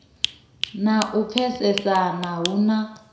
na u pfesesana hu na